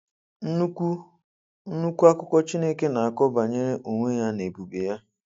Nnukwu Nnukwu akụkọ Chineke na-akọ banyere onwe ya na ebube ya.